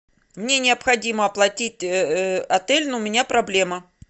мне необходимо оплатить отель но у меня проблема